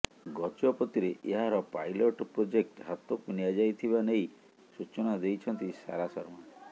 ଗଜପତିରେ ଏହାର pilot project ହାତକୁ ନିଆଯାଇଥିବା ନେଇ ସୂଚନା ଦେଇଛନ୍ତି ସାରା ଶର୍ମା